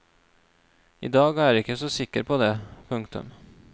I dag er jeg ikke så sikker på det. punktum